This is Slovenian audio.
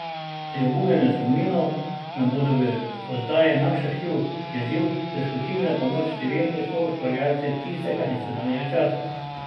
Pri obujanju spominov nam bodo v oddaji Naš arhiv je živ priskočili na pomoč številni soustvarjalci tistega in sedanjega časa.